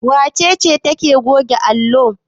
Wace ce take goge allo?